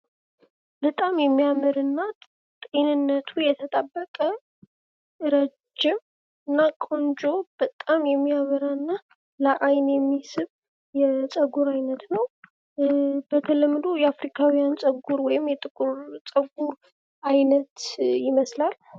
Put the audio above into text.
በጣም የሚያምርና ጤንነቱ የተጠበቀ ረጅምና ቆንጆ በጣም የሚያምርና ለአይን የሚስብ የፀጉር አይነት ነው። በተለምዶ የአፍሪካውያን ፀጉሩ ወይም የጥቁር ፀጉር አይነት ይመስላል።